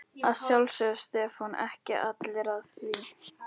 Að sjálfsögðu, stefna ekki allir að því?